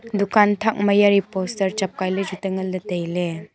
dukan thak ma yari poster chu chapkai ley chu te ngan tai ley.